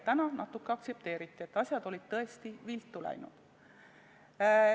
Täna natuke aktsepteeriti meie hinnagut, et asjad olid tõesti viltu läinud.